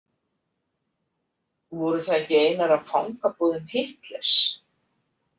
Voru það ekki einar af fangabúðum Hitlers?